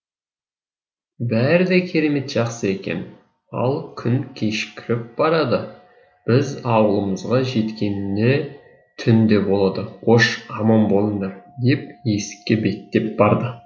бәрі де керемет жақсы екен ал күн кешкіріп барады біз ауылымызға жеткеніне түн де болады қош аман болыңдар деп есікке беттеп барды